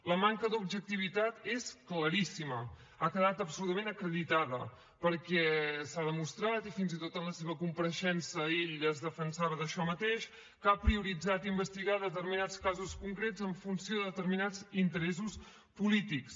la manca d’objectivitat és claríssima ha quedat absolutament acreditada perquè s’ha demostrat i fins i tot en la seva compareixença ell es defensava d’això mateix que ha prioritzat investigar determinats casos concrets en funció de determinats interessos polítics